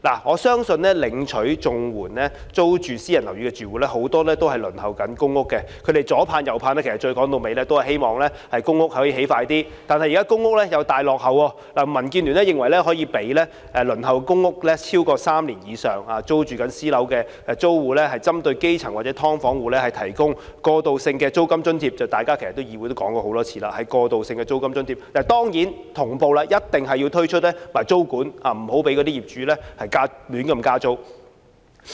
我相信租住私人樓宇的綜援戶大部分正輪候公屋，他們百般企盼，說到底只是希望公屋能盡快落成，但現時公屋的落成時間又大大落後，民主建港協進聯盟認為應讓輪候公屋3年或以上、租住私樓的住戶，針對基層或"劏房戶"提供過渡性租金津貼，其實大家在議會內已多次提出發放過渡性租金津貼的建議，當然，政府一定要同步推出租金管制，以免業主胡亂加租。